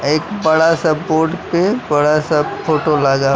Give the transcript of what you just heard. एक बड़ा सा बोर्ड पे बड़ा सा फोटो लगा--